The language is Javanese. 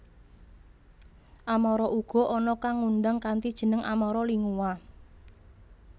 Amara uga ana kang ngundang kanthi jeneng Amara Lingua